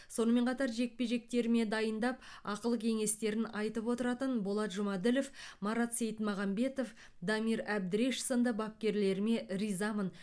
сонымен қатар жекпе жектеріме дайындап ақыл кеңестерін айтып отыратын болат жұмаділов марат сейітмағамбетов дамир әбдіреш сынды бапкерлеріме ризамын